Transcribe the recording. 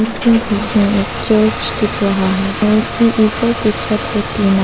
उसके पीछे एक चर्च दिख रहा है औरउसके ऊपर की छत है टीना।